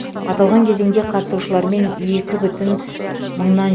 аталған кезеңде қатысушылармен екі бүтін мыңнан